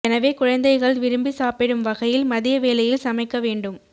எனவே குழந்தைகள் விரும்பி சாப்பிடும் வகையில் மதிய வேளையில் சமைக்க வேண்டு